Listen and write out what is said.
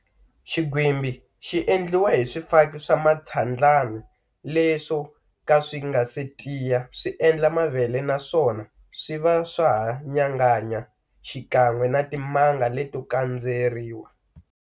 Xinghwimbi xi endliwa hi swifaki swa mitshwandlani, leswo ka swi nga se tiya swi endla mavele naswona swi va swa ha nyanganya xikan'we na timanga leto kandzeriwa.